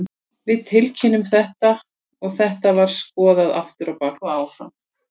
Við tilkynntum þetta og þetta var skoðað aftur á bak og áfram.